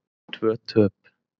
Tvö töp.